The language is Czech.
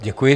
Děkuji.